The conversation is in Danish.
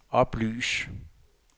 oplys